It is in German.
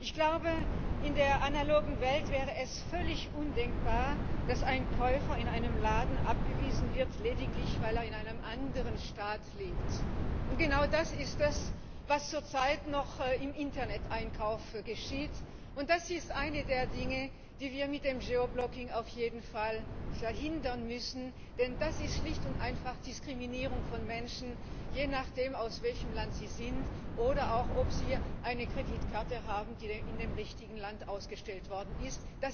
Ich glaube, in der analogen Welt wäre es völlig undenkbar, dass ein Käufer in einem Laden abgewiesen wird, lediglich weil er in einem anderen Staat lebt. Genau das ist das, was zurzeit noch im Interneteinkauf geschieht. Das ist eines der Dinge, die wir beim Geoblocking auf jeden Fall verhindern müssen, denn das ist schlicht und einfach Diskriminierung von Menschen je nachdem, aus welchem Land sie sind oder auch ob sie eine Kreditkarte haben, die in dem richtigen Land ausgestellt worden ist.